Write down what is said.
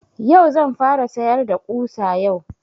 Yau zan fara sayar da ƙusa yau